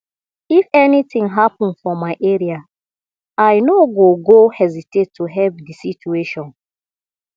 if anything happen for my area i no go go hesitate to help di situation